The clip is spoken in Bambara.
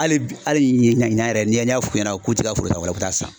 Hali bi hali ɲinan yɛrɛ n'i y'a f'u ɲɛna k'u tɛ ka foro ta u bi taa san.